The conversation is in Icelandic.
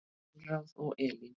Konráð og Elín.